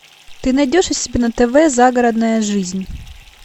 ты найдешь у себя на тв загородная жизнь